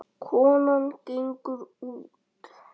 Konan gengur út.